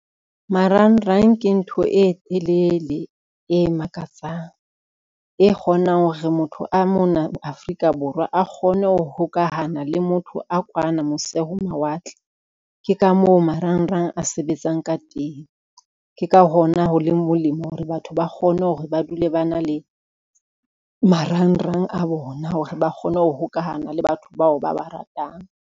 Marangrang ke ntho e telele, e makatsang, e kgonang ho re motho a mona Afrika Borwa a kgone ho hokahana le motho a kwana mose ho mawatle. Ke ka moo marangrang a sebetsang ka teng, ke ka hona ho leng molemo hore batho ba kgone hore ba dule ba na le marangrang a bona hore ba kgone ho hokahana le batho bao ba ba ratang.